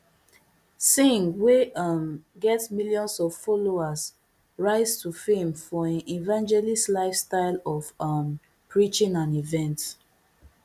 singh wey um get millions of followers rise to fame for im evangeliststyle of um preaching and events